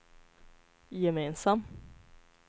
gemensam